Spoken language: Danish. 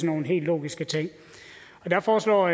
nogle helt logiske ting der foreslår